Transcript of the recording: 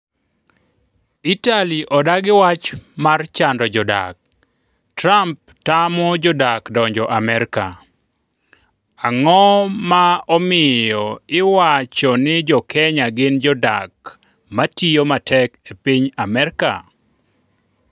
Itali odagi wach mar chando jodak. Trump tamo jodak donjo Amerka. Ang'oma omiyo iwacho ni jokenya gin jodak matiyo matek e piny Amerka.